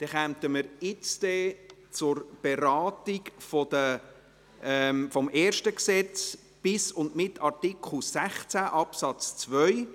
Wir kommen nun zur Beratung des ersten Gesetzes, bis und mit Artikel 16 Absatz 2.